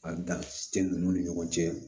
A dan te dugu ni ɲɔgɔn cɛ